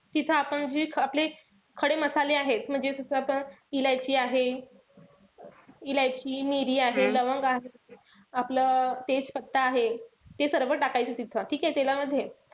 तिथं आपण जी आपली खडे-मसाले आहेत. जे जस इलायची आहे, इलायची, मिरी , लवंग आहे. आपलं तेजपत्ता आहे. ते सर्व टाकायचं तिथं. ठीके? तेलामध्ये.